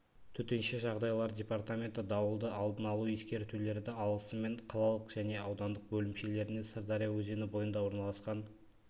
төтенше жағдайлар департаменті дауылды алдын алу ескертулерді алысымен қалалық және аудандық бөлімшелеріне сырдария өзені бойында орналасқан